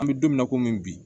An bɛ don min na komi bi